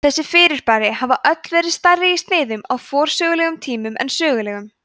þessi fyrirbæri hafa öll verið stærri í sniðum á forsögulegum tíma en sögulegum